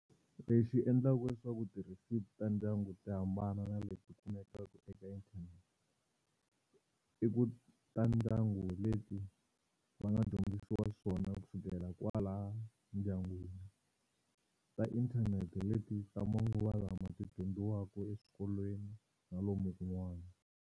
Lexi endlaka leswaku tirhesipi ta ndyangu ti hambana na leti kumekaka eka internet i ku ta ndyangu leti va nga dyondzisiwa swona kusukela kwalaya ndyangwini, ta inthanete hi leti ta manguva lawa ti dyondziwaka exikolweni na lomu kun'wani.